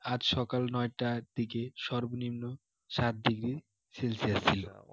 আজ সকাল নয় টার দিকে সর্বনিম্ন সাত degree celsius ছিল